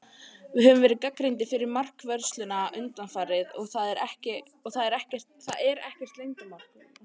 Við höfum verið gagnrýndir fyrir markvörsluna undanfarið, og það er ekkert leyndarmál.